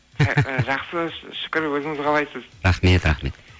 жақсы шүкір өзіңіз қалайсыз рахмет рахмет